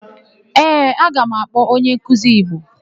Ee, aga m akpọ onyenkuzi Igbo.